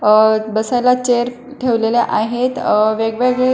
अह बसायला चेअर ठेवलेले आहेत अ वेगवेगळे--